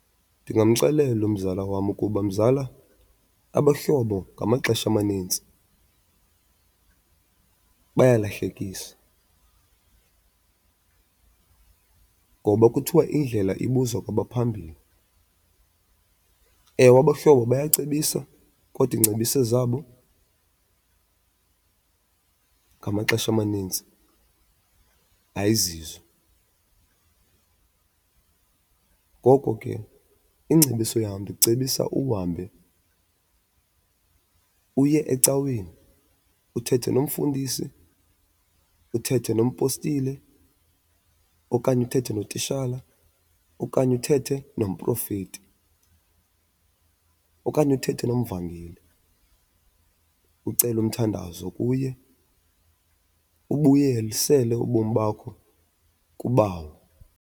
Ndingamxelela umzala wam ukuba mzala abahlobo ngamaxesha amanintsi bayalahlekisa, ngoba kuthiwa indlela ibuzwa kwabaphambili. Ewe, abahlobo bayacebisa kodwa iingcebiso zabo ngamaxesha amanintsi ayizizo. Ngoko ke ingcebiso yam ndicebisa uhambe uye ecaweni, uthethe nomfundisi, uthethe nompostile, okanye uthethe notitshala, okanye uthethe nomprofethi, okanye uthethe nomvangeli ucele umthandazo kuye, ubuyelisele ubomi bakho kuBawo.